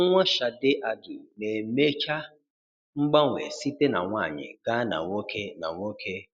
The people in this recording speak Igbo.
Nwa Sade Adu na-emecha mgbanwe site na nwanyị gaa na nwoke na nwoke